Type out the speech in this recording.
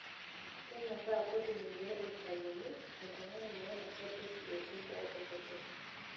Kenyoraa kotini pee eitayuni oltungani meinosa olkesi etii boo e kotini.